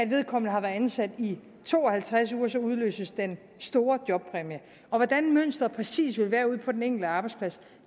vedkommende har været ansat i to og halvtreds uger så udløses den store jobpræmie og hvordan mønsteret præcis vil være ude på den enkelte arbejdsplads